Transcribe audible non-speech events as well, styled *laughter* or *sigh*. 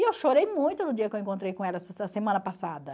E eu chorei muito no dia que eu encontrei com ela, *unintelligible* semana passada.